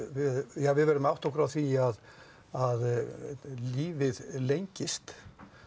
ja við verðum að átta okkur á því að að lífið lengist